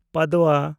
Padwa (Diwali)